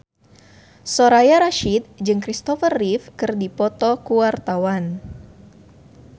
Soraya Rasyid jeung Kristopher Reeve keur dipoto ku wartawan